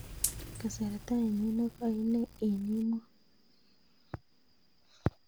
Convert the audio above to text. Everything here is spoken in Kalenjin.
Kasarta ainon negoi inei en emot